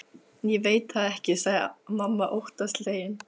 Ég veit það ekki, sagði mamma óttaslegin.